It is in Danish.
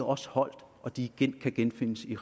også holder og de kan genfindes i